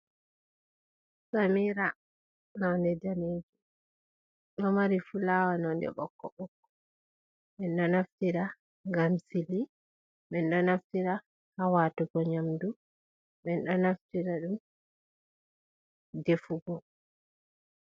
Samira nonde daneji. Ɗo mari fulawa nonde ɓokko- ɓokko. min ɗo naftira ngam sili, min ɗo naftira ha watugo nyamdu, min ɗo naftira ɗum ha defugo.